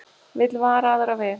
Vill vara aðra við